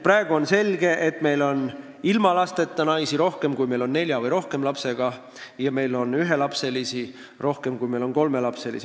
Praegu on selge, et meil on ilma lasteta naisi rohkem, kui meil on nelja või rohkema lapsega naisi, ja meil on ühelapselisi rohkem, kui meil on kolmelapselisi.